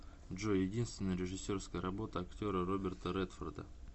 джой единственная режиссерская работа актера роберта редфорда